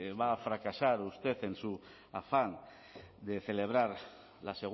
va a fracasar usted en su afán de celebrar la